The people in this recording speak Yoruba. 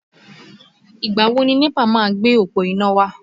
Ìgbà wo ni NEPA máa gbé òpó iná wá?